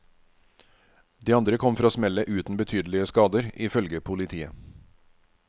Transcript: De andre kom fra smellet uten betydelige skader, ifølge politiet.